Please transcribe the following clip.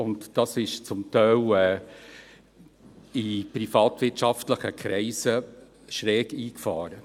Und dies kam in privatwirtschaftlichen Kreisen zum Teil schräg an.